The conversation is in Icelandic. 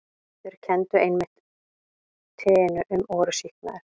Þeir kenndu einmitt teinu um og voru sýknaðir.